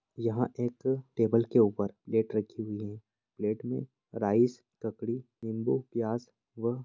यहाँ एक टेबुल के ऊपर प्लेट रखी हुई है प्लेट में राइस ककड़ी निम्बू प्याज व --